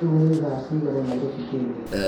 riu ni thaa cĩĩgana Nairobi Kenya